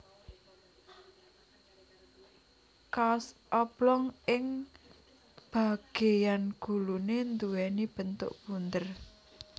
Kaos oblong ing bagéyan guluné nduwèni bentuk bunder